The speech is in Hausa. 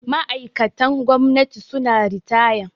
Ma'aikatan gwamnati suna ritaya